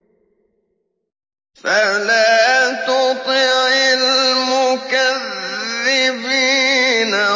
فَلَا تُطِعِ الْمُكَذِّبِينَ